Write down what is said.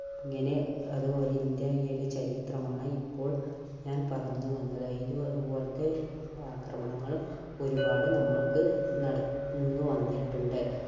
അങ്ങനെ അതുപോലെ ഇന്ത്യയുടെ ചരിത്രമാണ് ഇപ്പോൾ ഞാൻ പറഞ്ഞുവന്നത്. ഇതുപോലത്തെ ആക്രമണങ്ങളും ഒരുപാട് നമ്മൾക്ക് നട വന്നിട്ടുണ്ട്.